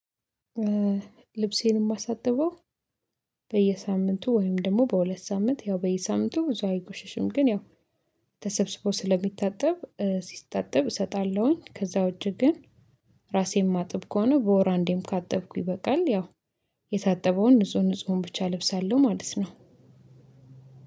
ልብሴን የማሳጥበው በየሳምንቱ ወይም ደግሞ በሁለት ሳምንት ያው በየሳምንቱ ብዙ አይቆሽሽም ግን ያው ተሰብስቦ ስለሚታጠብ ሲታጠብ እሰጣለሁኝ። ከዛ ውጭ ግን ራሴ ማጥብ ከሆነ በወር አንዴም ካጠብኩ ይበቃል። ያው የታጠበውን ንጹህ ንፁህን ብቻ እለብሳለሁ ማለት ነው።